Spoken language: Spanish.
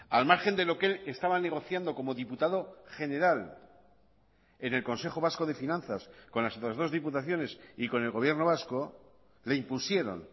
al margen de lo que estaban negociando como diputado general en el consejo vasco de finanzas con las otras dos diputaciones y con el gobierno vasco le impusieron